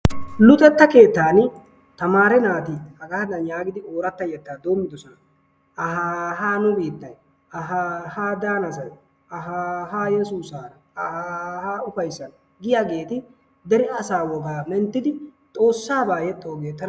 Luxetta keettaani tamaare naati hagaadan yaagidi yettaa doommidosona. Ahaaha nu biittay, aahaahaa daanasay, aahaahaa yesuusaara, aahaahaa ufayssan giyageeti dere asaa wogaa menttidi xoossaagaa yexxoogee tana ufayssiis.